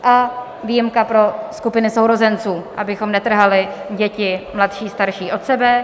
A výjimka pro skupiny sourozenců, abychom netrhali děti mladší - starší od sebe.